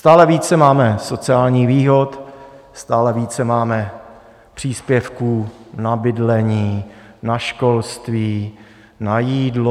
Stále více máme sociálních výhod, stále více máme příspěvků na bydlení, na školství, na jídlo.